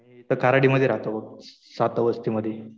मी इथं कराडी मध्ये राहतो बघ. सात वस्तीमधी.